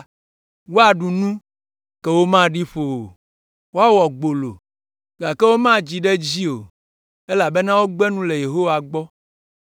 “Woaɖu nu, ke womaɖi ƒo o. Woawɔ gbolo, gake womadzi ɖe edzi o, elabena wogbe nu le Yehowa gbɔ,